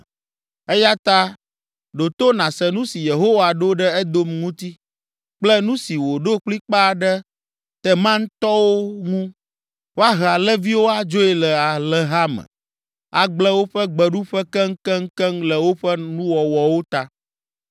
Eya ta ɖo to nàse nu si Yehowa ɖo ɖe Edom ŋuti, kple nu si wòɖo kplikpaa ɖe Temantɔwo ŋu: Woahe alẽviwo adzoe le alẽha me, agblẽ woƒe gbeɖuƒe keŋkeŋkeŋ le woƒe nuwɔwɔwo ta.